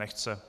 Nechce.